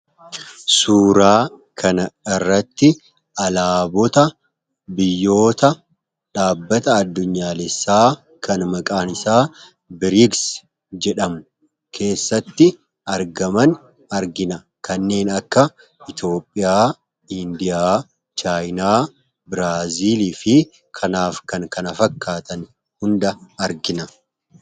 suuraa kan irratti alaabota biyyoota dhaabbata addunyaalessaa kan maqaanisaa biriigs jedhamu keessatti argaman argina kanneen akka itoophiyaa indiya chaayinaa biraaziilii fi kanaaf kan kana fakkaatan hunda argina